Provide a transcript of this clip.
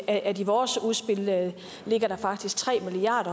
at at i vores udspil ligger der faktisk tre milliard